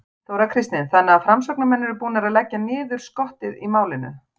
Þóra Kristín: Þannig að framsóknarmenn eru búnir að leggja niður skottið í málinu?